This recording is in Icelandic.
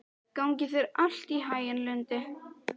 Gangi þér allt í haginn, Lundi.